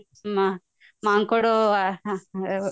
ମା ମାଙ୍କଡ ଆହାଃ